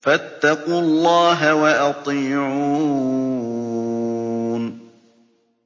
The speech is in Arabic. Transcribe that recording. فَاتَّقُوا اللَّهَ وَأَطِيعُونِ